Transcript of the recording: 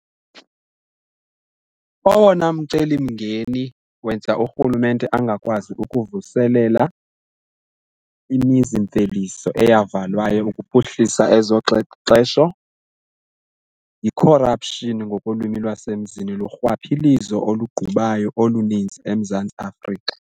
Owona mcelimngeni wenza urhulumente angakwazi ukuvuselela imizimveliso eyavalwayo ukuphuhlisa ezoxexesho yi-corruption ngokolwimi lwasemzini lurhwaphilizo olugqubayo oluninzi eMzantsi Afrika.